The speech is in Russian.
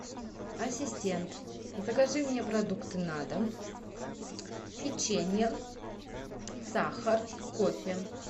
ассистент закажи мне продукты на дом печенье сахар кофе